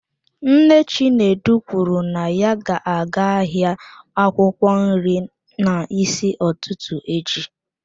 Nne Chinedu kwuru na ya ga-aga ahịa akwụkwọ nri n'isi ụtụtụ echi.